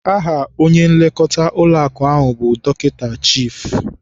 Aha onye nlekọta ụlọakụ ahụ bụ Dọkịta Chife.